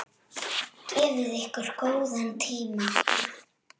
Gefið ykkur góðan tíma.